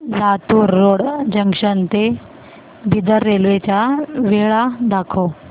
Latur road junction ते Bidar railway च्या वेळा दाखव